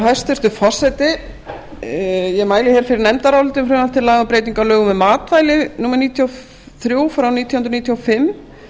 hæstvirtur forseti ég mæli hér fyrir nefndaráliti um frumvarp til laga um breytingu á lögum um matvæli númer níutíu og þrjú nítján hundruð